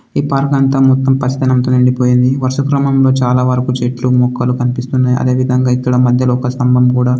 ఈ పంటంతా మొత్తం పచ్చదనంతో నిండిపోయింది. వరుసక్రమంలో చాలావరకు చెట్లు మొక్కలు కనిపిస్తున్నాయి. అదేవిధంగా ఇక్కడ మధ్యలో ఒక స్తంభం కూడా--